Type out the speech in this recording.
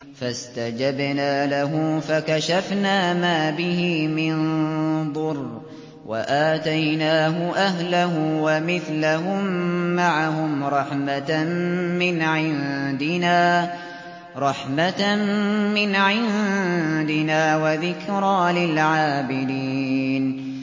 فَاسْتَجَبْنَا لَهُ فَكَشَفْنَا مَا بِهِ مِن ضُرٍّ ۖ وَآتَيْنَاهُ أَهْلَهُ وَمِثْلَهُم مَّعَهُمْ رَحْمَةً مِّنْ عِندِنَا وَذِكْرَىٰ لِلْعَابِدِينَ